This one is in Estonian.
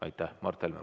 Mart Helme, palun!